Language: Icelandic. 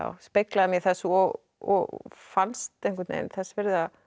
speglaði mig í þessu og og fannst einhvern veginn þess virði